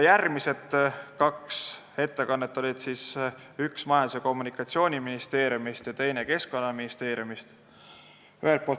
Järgmised kaks ettekannet olid Majandus- ja Kommunikatsiooniministeeriumist ja Keskkonnaministeeriumist.